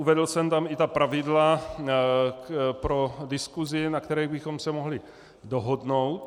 Uvedl jsem tam i ta pravidla pro diskusi, na kterých bychom se mohli dohodnout.